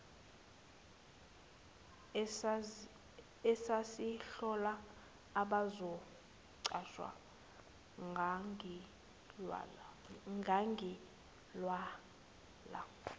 esasihlola abazoqashwa ngangilwela